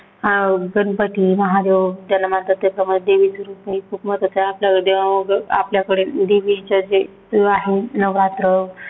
अं गणपती, महादेव देवीच रूप महत्वाचं आहे आपल्याकडे देवा आपल्याकडे देवीच्या देव आहे नवरात्र,